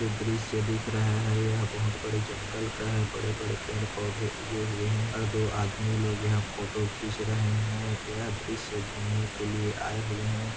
जो दृश्य देख रहे है यह बोहत बड़े जंगल का है बड़े बड़े पेड़ पौधे उगे हुये है और दो आदमी लोग यहा फोटो खींच रहे है यह दृश्य घूमने के लिए आए हुये है।